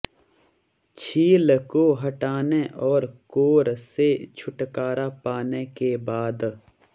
छील को हटाने और कोर से छुटकारा पाने के बाद